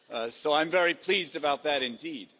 So I'm very pleased about that indeed.